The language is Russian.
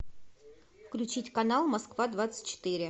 включить канал москва двадцать четыре